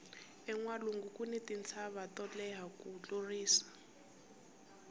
enwalungu kuni tintshava to leha ku tlurisa